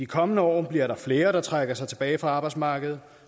kommende år bliver der flere der trækker sig tilbage fra arbejdsmarkedet